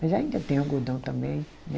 Mas ainda tem algodão também, né?